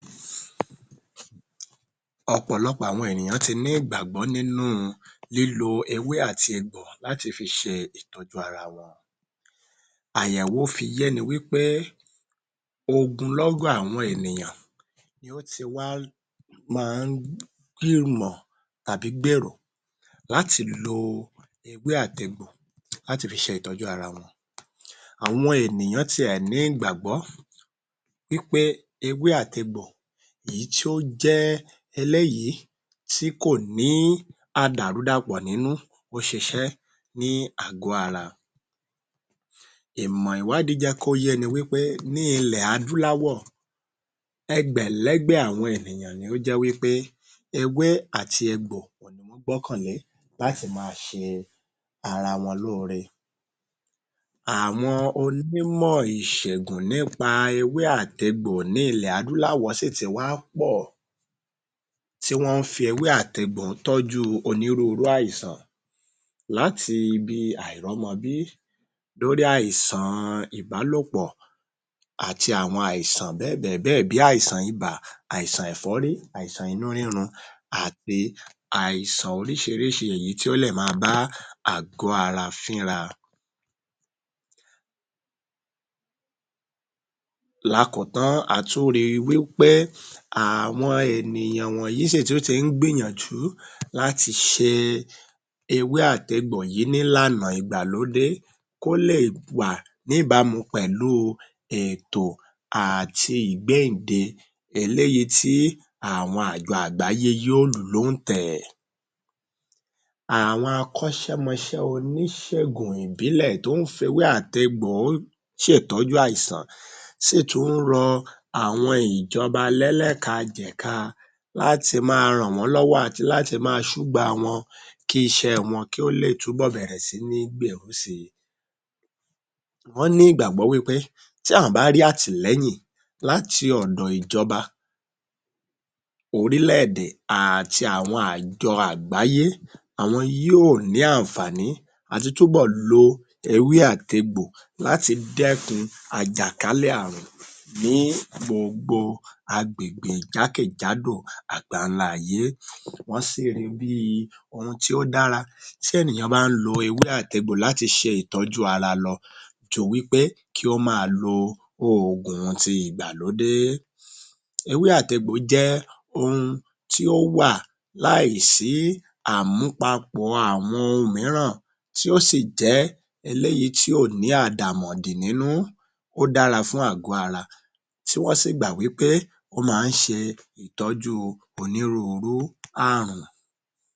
Ọ̀pọ̀lọpọ̀ àwọn ènìyàn ti ní ìgbàgbọ́ nínú u lílo ewé àti egbò láti fi ṣe ìtọ́jú ara wọn. Àyẹ̀wò fi yéni wí pé ogunlọ́gọ̀ àwọn ènìyàn ni ó ti wá ma ń gbìmọ̀ tàbí gbèrò láti lo ewé àt’egbò láti fi ṣe ìtọ́jú ara wọn. Àwọn ènìyàn tiẹ̀ ní ìgbàgbọ́ pé ewé àt’egbò èyí tí ó jẹ́ eléyìí tí kò ní àdàrúdàpọ̀ nínú ń ṣiṣẹ́ ní àgó ara. Ìmọ̀ ìwádìí jẹ́ kó yéni wí pé ní ilè adúláwọ̀ ẹgbẹ̀lẹ́gbẹ̀ àwọn ènìyàn ni ó jẹ́ wí pé ewé àti egbò òhun ni wọ́n gbọ́kàn lé láti ma ṣe ara wọn lóore. Àwọn onímọ̀ ìṣègùn nípa nípa ewé àt’egbò ní ilẹ̀ adúláwọ̀ sì ti wá pọ̀ tí wọ́n ń fi ewé àt’egbò tọ́jú onírúurú àìsàn láti bí i àìrọ́mọbí dórí àìsàn ìbálòpọ̀ àti àwọn àìsàn bẹ́ẹ̀ bẹ̀ẹ̀ bẹ́ẹ̀ bí àìsàn ibà, àìsàn ẹ̀fọ́rí, àìsàn inú rírun àti àìsàn oríṣiríṣi èyí tí ó lè máa bá àgó ara fínra. Lákọ́kọ́ a tún ri pé àwọn ènìyàn wọ̀nyí sì tún ti ń gbìyànjú láti ṣe ewé àt’egbò yìí nílànà ìgbàlódé kó lè wà níbámu pẹ̀lú u èètò àti ìgbéǹde eléyìí tí àwọn àjọ àgbáyé yóọ̀ lù ú lóǹtẹ̀. Àwọn akọ́ṣẹmọṣẹ́ oníṣègùn ìbílẹ̀ tó ń fewé àtegbo ó ṣe ìtọ́jú àìsàn sì tún rọ àwọn ìjọba lẹ́lẹ́ka-jẹ̀ka láti máa a ràn wọ́n lọ́wọ́ àti láti ma ṣúgbà wọn kí iṣẹ́ wọn kí ó lè túbọ̀ bẹ̀rẹ̀ sí ní gbèrú si. Wọ́n ní ìgbàgbọ́ wí pé tí àwọn bá rí àtìlẹ́yìn láti ọ̀dọ̀ ìjọba orílẹ̀-èdè àti àjọ àgbáyé àwọn yíò ní àǹfààní àti túbọ̀ lo ewé àti egbò láti dẹ́kun àjàkálẹ̀ àrùn ní gbogbo agbègbè jákèjádò àgbáńlá ayé, wọ́n sì ri bí i ohun tí ó dára tí ènìyàn bá ń lo ewé àt’egbò láti ṣe ìtọ́jú ara lọ ju wí pé kí ó máa lo oògùn ti ìgbàlódé. Ewé àt’egbò jẹ́ ohun tí ó wà láì sí àmúpapọ̀ àwọn ohun míràn tí ó sì jẹ́ eléyìí tí ò ní àdàmọ̀dì nínú ó dára fún àgó ara tí wọ́n sì gbà wí pé ó ma ń ṣe ìtọ́jú onírúurú àrùn.